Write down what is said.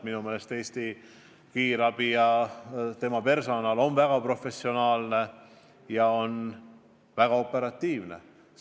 Minu meelest Eesti kiirabi personal on väga professionaalne ja tegutseb väga operatiivselt.